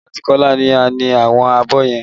Èmi àti Kola ni a ni àwọn abọ́ yẹn